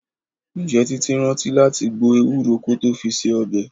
Ǹjẹ́ Títí rántí láti gbo Ewúro kó tó fi se ọbẹ̀?